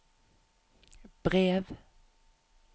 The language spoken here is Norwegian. brev